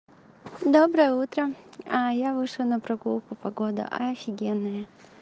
доброе утро а я вышла на прогулку погода офигенная